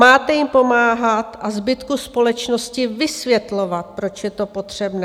Máte jim pomáhat a zbytku společnosti vysvětlovat, proč je to potřebné.